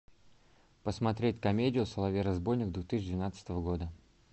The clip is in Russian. посмотреть комедию соловей разбойник две тысячи двенадцатого года